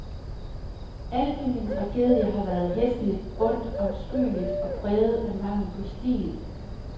Alt ved min tragedie har været hæsligt, ondt, afskyeligt og præget af mangel på stil.